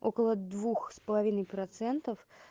около двух с половиной процентов